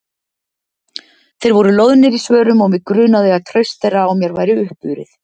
Þeir voru loðnir í svörum og mig grunaði að traust þeirra á mér væri uppurið.